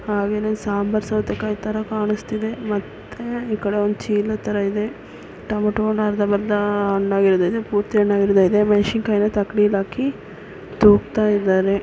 ಹಾಗೇನೆ ಸಾಂಬಾರ್ ಸೌತೆಕಾಯಿ ತರ ಕಾಣಿಸ್ತಿದೆ ಮತ್ತೆ ಈ ಕಡೆ ಒಂದು ಚೀಲ ತರ ಇದೆ ಟಮೋಟನ ಅರ್ಧ ಬರ್ದ ಹಣ್ ಆಗಿರೋದು ಇದೆ ಪೂರ್ತಿ ಹಣ್ ಆಗಿರೋದು ಇದೆ ಮೆಣಸಿನಕಾಯಿನ ತಕ್ಕಡಿಯಲ್ಲಿ ಹಾಕಿ ತೂಗುತ್ತ ಇದ್ದಾರೆ.